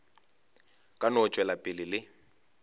ka no tšwela pele le